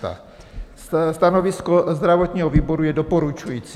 Stanovisko zdravotního výboru je doporučující.